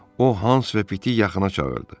O Hans və Pitqi yaxına çağırdı.